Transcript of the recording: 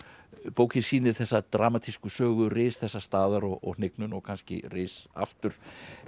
bókin sýnir þessa dramatísku sögu ris þessa staðar og hnignun og kannski ris aftur